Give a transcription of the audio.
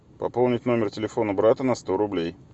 пополнить номер телефона брата на сто рублей